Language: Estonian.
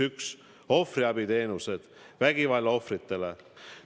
Ohvriabi teenused vägivalla ohvritele.